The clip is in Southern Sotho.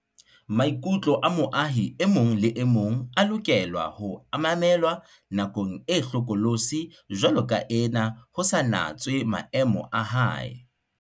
Maikutlo a moahi e mong le e mong a lokela ho mamelwa nakong e hlokolosi jwaloka ena ho sa natswe maemo a hae.